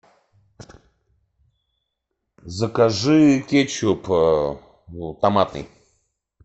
закажи кетчуп томатный